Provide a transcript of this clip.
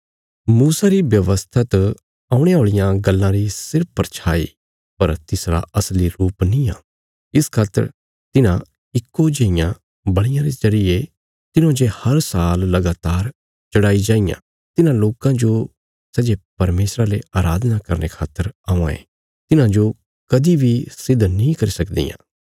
मूसा री व्यवस्था त औणे औल़ियां गल्लां री सिर्फ परछाई पर तिसरा असली रुप निआं इस खातर तिन्हां इक्को जेईयां बल़ियां रे जरिये तिन्हौं जे हर साल लगातार चढ़ाई जाईयां तिन्हां लोकां जो सै जे परमेशरा ले अराधना करने खातर औआं ये तिन्हांजो कदीं बी सिद्ध नीं करी सकदियां